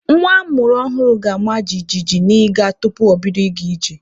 Nwa a mụrụ ọhụrụ ga-ama jijiji n'iga tupu o bido ịga ije.